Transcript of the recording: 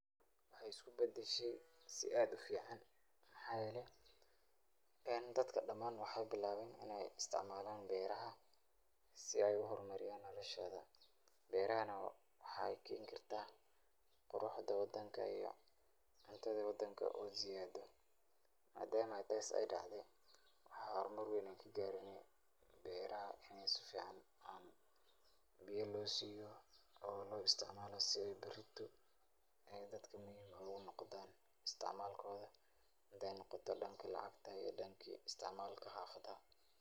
Waxeey isku badashe si aad ufican, waxaa yeele dadka damaan waxeey bilaabeen inaay isticmaalan beeraha, si aay uhor mariyaan noloshooda berahana waxeey keen kartaa quruxda wadanka iyo cuntada wadanka oo siyaado, maadama taas aay dacde waxaan hor mar weyn kagaarne beeraha inaay si fican ubaxaan, biya loo siiyo oo loo isticmaalo si aay barito dadka muhiim oogu noqdaan, isticmaalkooda hadaay noqoto danka lacagta iyo danka isticmaalka xafada.